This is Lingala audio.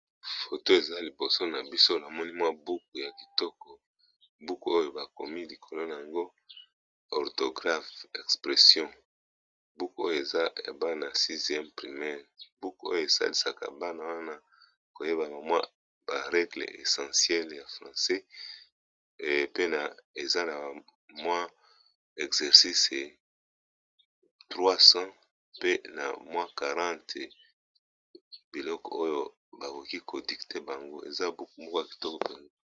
Foto eza liboso na biso namoni mwa buku ya kitoko buku oyo bakomi likolo na yango orthographe expression, buku oyo eza ya bana ya 6eme primaire, buku oyo esalisaka bana wana koyeba ba mwa ba regle essentiele ya francais, pe na eza na mwa exercice 300 pe na mwa 40 biloko oyo bakoki ko dicte bango eza buku moko ya kitoko bango.